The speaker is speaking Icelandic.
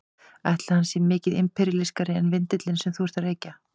Ætli hann sé mikið imperíalískari en vindillinn sem þú ert að reykja?